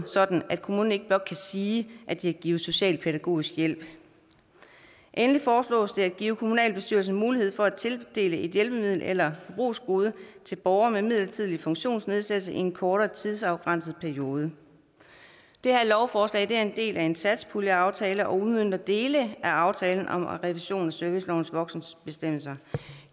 sådan at kommunen ikke blot kan sige at de har givet socialpædagogisk hjælp endelig foreslås det at give kommunalbestyrelsen mulighed for at tildele et hjælpemiddel eller forbrugsgode til borgere med midlertidig funktionsnedsættelse i en kortere tidsafgrænset periode lovforslaget er en del af en satspuljeaftale og udmønter dele af aftalen om revision af servicelovens voksenbestemmelser